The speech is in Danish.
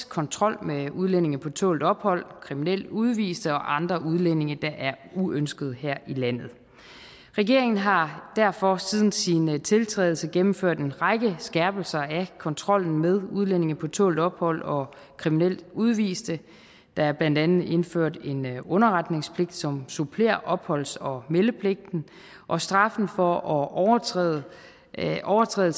kontrol med udlændinge på tålt ophold kriminelle udviste og andre udlændinge der er uønskede her i landet regeringen har derfor siden sin tiltrædelse gennemført en række skærpelser af kontrollen med udlændinge på tålt ophold og kriminelle udviste der er blandt andet indført en underretningspligt som supplerer opholds og meldepligten og straffen for at overtræde at overtræde